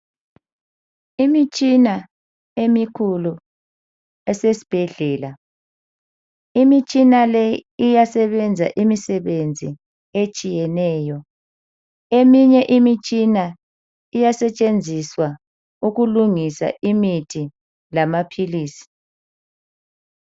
Imitshina emikhulu esesibhedlela. Imitshina le iyasebenza imisebenzi etshiyeneyo. Eminye imitshina le iyasetshenziswa ukulungisa imithi lamapholisa.